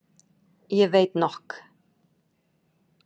Ég veit nokk.